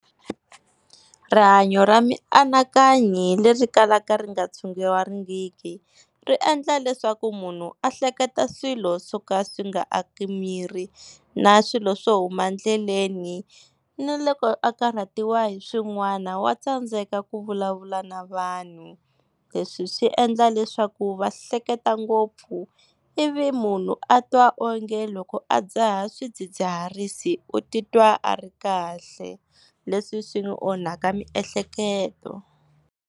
Rihanyo ra mianakanyo hi leri kalaka ri nga tshunguriwangiki ri endla leswaku munhu a hleketa swilo swoka swi nga aki miri na swilo swo huma ndleleni, ni loko a karhatiwa hi swin'wana wa tsandzeka ku vulavula na vanhu. Leswi swi endla leswaku va hleketa ngopfu ivi munhu a twa onge loko a dzaha swidzidziharisi u titwa a ri kahle, leswi swi ni onhaka miehleketo.